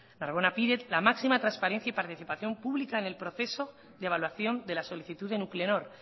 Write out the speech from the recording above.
narbona pide la máxima transparencia y participación pública en el proceso de evaluación de la solicitud de nuclenor